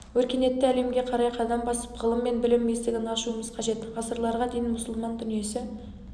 өркениетті әлемге қарай қадам басып ғылым мен білім есігін ашуымыз қажет ғасырларға дейін мұсылман дүниесі